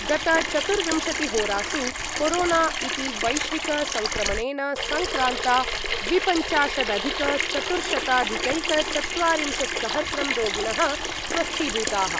गतचतुर्विंशतिहोरासु corona इति वैश्विकसङ्क्रमणेन सङ्क्रान्ता द्विपञ्चाशदधिकचतुर्शताधिकैकचत्वारिंशत्सहस्रं रोगिणः स्वस्थीभूताः।